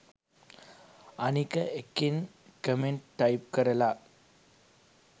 අනික එකෙන් comment type කරලා